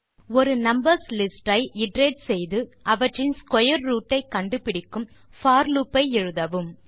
ஒரு numbers list ஐ iterate செய்து அவற்றின் ஸ்க்வேர் ரூட் ஐ கண்டுபிடிக்கும் போர் லூப் ஐ எழுதவும்